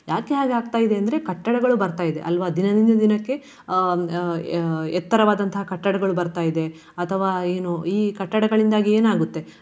ಯಾಕೆ ಹಾಗೆ ಆಗ್ತಾ ಇದೆ ಅಂದ್ರೆ ಕಟ್ಟಡಗಳು ಬರ್ತಾ ಇದೆ ಅಲ್ವಾ. ದಿನದಿಂದ ದಿನಕ್ಕೆ ಅಹ್ ಅಹ್ ಅಹ್ ಎತ್ತರವಾದಂತಹ ಕಟ್ಟಡಗಳು ಬರ್ತಾ ಇದೆ ಅಥವಾ ಏನು ಈ ಕಟ್ಟಡಗಳಿಂದಾಗಿ ಏನಾಗುತ್ತೆ.